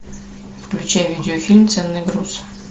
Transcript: включай видеофильм ценный груз